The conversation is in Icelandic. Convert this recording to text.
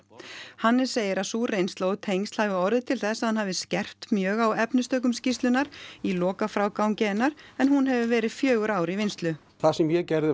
Hannes segir að sú reynsla og tengsl hafi orðið til þess að hann hafi skerpt mjög á efnistökum skýrslunnar í lokafrágangi hennar en hún hefur verið fjögur ár í vinnslu það sem ég gerði